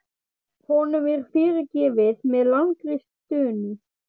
Honum er fyrirgefið með langri stunu.